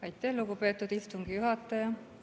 Aitäh, lugupeetud istungi juhataja!